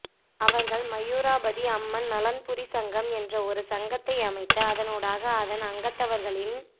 அவர்கள் மயூராபதி அம்மன் நலன்புரிச்சங்கம் என்ற ஒரு சங்கத்தை அமைத்து அதனூடாக அதன் அங்கத்தவர்களின்